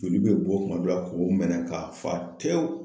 Joli bɛ bɔ kuma dɔ la k'o menɛn k'a fa tewu.